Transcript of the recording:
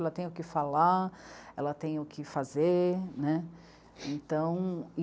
Ela tem o que falar, ela tem o que fazer, né. Então